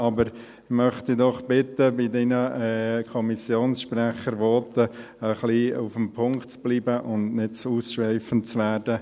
Aber ich möchte Sie doch bitten, bei Ihren Kommissionssprecher-Voten etwas beim Punkt zu bleiben und nicht zu ausschweifend zu werden.